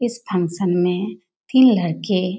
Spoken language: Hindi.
इस फंक्शन में तीन लड़के --